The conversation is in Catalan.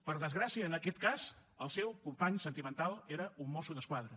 per desgràcia en aquest cas el seu company sentimental era un mosso d’esquadra